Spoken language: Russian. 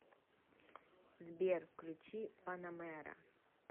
сбер включи панамэра